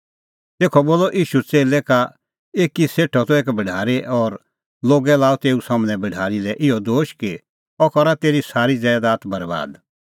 तेखअ बोलअ ईशू च़ेल्लै का एकी सेठो त एक भढारी और लोगै लाअ तेऊ सम्हनै तेऊ भढारी लै इहअ दोश कि अह करा तेरी सारी ज़ैदात बरैबाद